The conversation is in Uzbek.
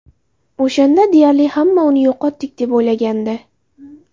O‘shanda deyarli hamma uni yo‘qotdik, deb o‘ylagandi.